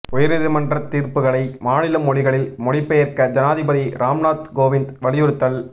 உயர்நீதிமன்ற தீர்ப்புகளை மாநில மொழிகளில் மொழிபெயர்க்க ஜனாதிபதி ராம்நாத் கோவிந்த் வலியுறுத்தல்